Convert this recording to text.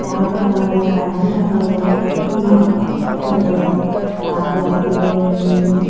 ଜାଉ ଭାତ ହବ କାଞ୍ଜି ଭାତ ହବ ଭାତ ହବ। ତାପରେ ଆସିଲେ ଉଁ